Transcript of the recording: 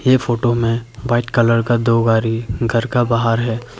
ये फोटो में white colour का दो गाड़ी घर का बाहर है।